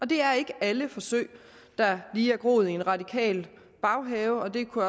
det er ikke alle forsøg der lige er groet i de radikales baghave og det kunne